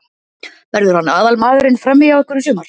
Verður hann aðalmaðurinn frammi hjá ykkur í sumar?